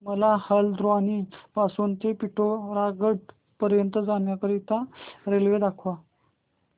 मला हलद्वानी पासून ते पिठोरागढ पर्यंत जाण्या करीता रेल्वे दाखवा